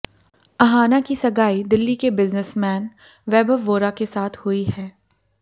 अहाना की सगाई दिल्ली के बिजनेसमैन वैभव वोरा के साथ हुई है